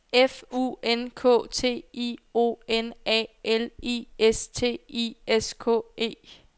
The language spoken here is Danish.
F U N K T I O N A L I S T I S K E